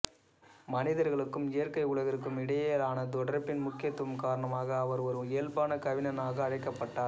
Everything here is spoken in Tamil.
மனிதர்களுக்கும் இயற்கை உலகிற்கும் இடையிலான தொடர்பின் முக்கியத்துவம் காரணமாக அவர் ஒரு இயல்பான கவிஞனாக அழைக்கப்பட்டார்